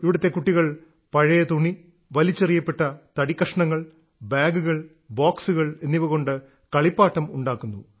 ഇവിടത്തെ കുട്ടികൾ പഴയ തുണി വലിച്ചെറിയപ്പെട്ട തടിക്കഷണങ്ങൾ ബാഗുകൾ ബോക്സുകൾ എന്നിവകൊണ്ട് കളിപ്പാട്ടം ഉണ്ടാക്കുന്നു